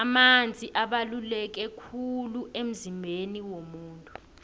amanzi abaluleke khulu emzimbeni womuntu